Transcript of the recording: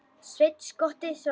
Sveinn skotti, svaraði hann.